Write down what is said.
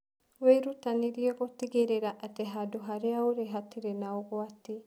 Wĩrutanĩrie gũtigĩrĩra atĩ handũ harĩa ũrĩ hatirĩ na ũgwati!